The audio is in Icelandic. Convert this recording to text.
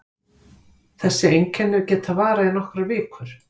Þessi einkenni geta varað í nokkrar vikur.